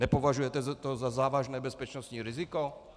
Nepovažujete to za závažné bezpečnostní riziko?